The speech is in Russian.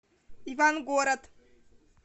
ивангород